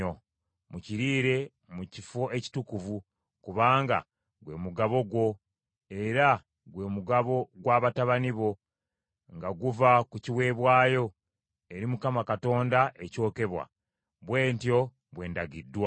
Mukiriire mu kifo ekitukuvu, kubanga gwe mugabo gwo, era gwe mugabo gw’abatabani bo, nga guva ku kiweebwayo eri Mukama Katonda ekyokebwa; bwe ntyo bwe ndagiddwa.